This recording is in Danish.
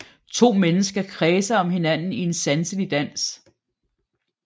To mennesker kredser om hinanden i en sanselig dans